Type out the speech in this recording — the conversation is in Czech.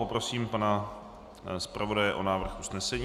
Poprosím pana zpravodaje o návrh usnesení.